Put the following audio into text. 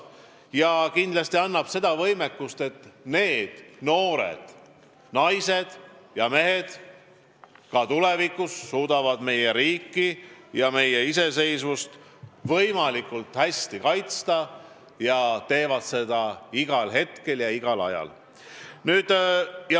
Ja kindlasti tagab see võimekuse, et need noored naised ja mehed tulevikus suudavad vajadusel meie riiki ja meie iseseisvust hästi kaitsta ja nad teevad seda igal hetkel, igal ajal.